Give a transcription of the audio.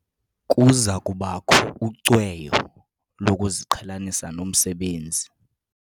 Kuza kubakho ucweyo lokuziqhelanisa nomsebenzi.